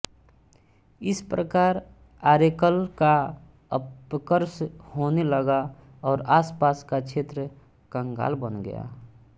इस प्रकार ऑरेकल का अपकर्ष होने लगा और आसपास का क्षेत्र कंगाल बन गया